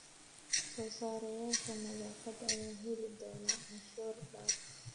Soo-saareyaasha nadaafadda ayaa heli doona canshuur dhaaf.